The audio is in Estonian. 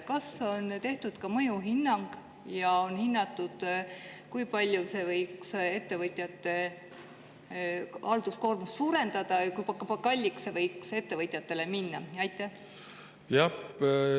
Kas on tehtud ka mõjuhinnang ja on hinnatud, kui palju see võiks ettevõtjate halduskoormust suurendada ja kui kalliks see võiks ettevõtjatele minna?